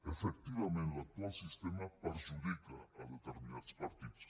efectivament l’actual sistema perjudica determinats partits